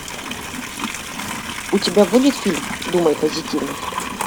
у тебя будет фильм думай позитивно